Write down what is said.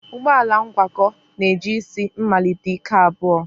Ụgbọ ala ngwakọ na-eji isi mmalite ike abụọ